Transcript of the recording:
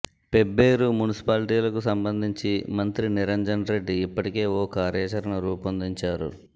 పెబ్బేరు మున్సిపాలిటీలకు సంబంధించి మంత్రి నిరంజన్ రెడ్డి ఇప్పటికే ఓ కార్యచరణ రూపొందించారు